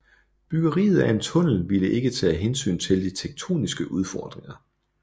Byggeriet af en tunnel ville ikke tage hensyn til de tektoniske udfordringer